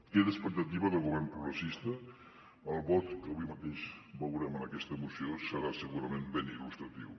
queda expectativa de govern progressista el vot que avui mateix veurem en aquesta moció serà segurament ben il·lustratiu